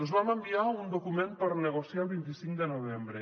els vam enviar un document per a negociar el vint cinc de novembre